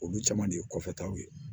Olu caman de ye kɔfɛtaw ye